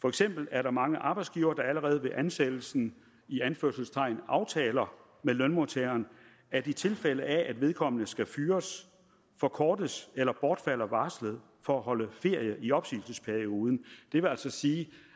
for eksempel er der mange arbejdsgivere der allerede ved ansættelsen i anførselstegn aftaler med lønmodtageren at i tilfælde af at vedkommende skal fyres forkortes eller bortfalder varslet for at holde ferie i opsigelsesperioden det vil altså sige